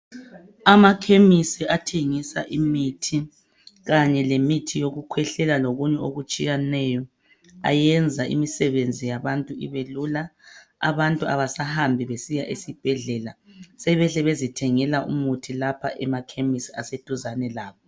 Amakhemisi athengisa imithi kanye lemithi yokukhwehlela lokunye okutshiyeneyo ayenza imisebenzi yabantu ibelula. Abantu abasahambi esibhedlela sebehle bezithengela umuthi lapha emakhemisi aseduzane labo.